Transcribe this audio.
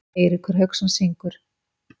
Eiríkur Hauksson syngur.